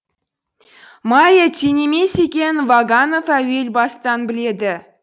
майя тең емес екенін ваганов әуел бастан біледі